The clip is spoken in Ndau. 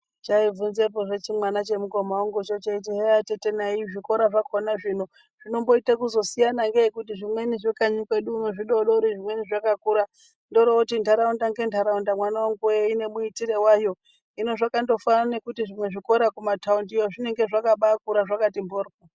Chaibvunzepozve chimwana chemukoma vangu cheiti heya tete nai zvikora zvakona zvino zvinomboite kuzosiyana ngeyi ngekuti zvimwe zvekanyi uno zvidodori zvimweni zvakakura. Ndoro oti ntaraunda ngentaraunda mwanangu voye ine muitiro vayo. Hino zvakandofanana nekuti zvimwe zvikora kumataundiyo zvinonga zvakabakura zvakati mhoryo.